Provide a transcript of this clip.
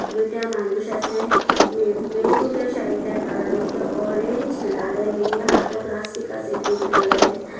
দুইটা মানুষ আসে মে মেন লুকেশনে এটার কালার হইসে অরেঞ্জ লালের নিজে হাতেও প্লাস্টিক আসে গ্রীন কালারের।